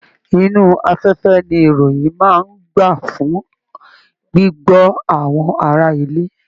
Inú afẹ́fẹ́ ní ìròyìn máa n gbà fún gbigbọ àwọn ará ilé.